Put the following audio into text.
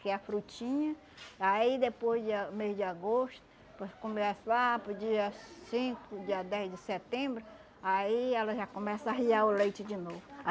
que é a frutinha, aí depois, de ah mês de agosto, começa lá para o dia cinco, dia dez de setembro, aí ela já começa a arriar o leite de novo.